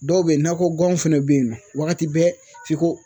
Dɔw bɛ yen nakɔ guwanw fɛnɛ be yen nɔ wagati bɛɛ f'i ko